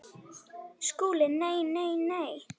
SKÚLI: Nei, nei, nei!